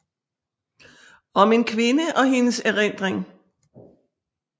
Om en kvinde og hendes erindring